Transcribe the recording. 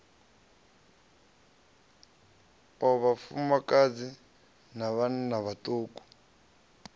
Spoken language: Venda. o vhafumakadzi na vhanna vhaṱuku